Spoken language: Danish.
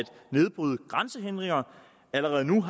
nedbryde grænsehindringer allerede nu